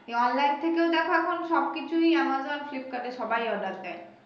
এই online থেকেও দেখো এখন সবকিছুই Amazon Flipkart এ সবাই order দেয়